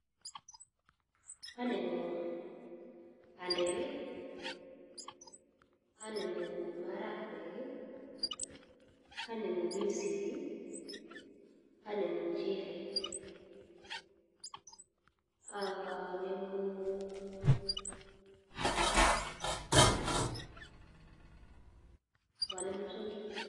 Anemu bandek, anemu marakwek, anemu binsik, anemu muchelek ak anemu ak anemu psongik.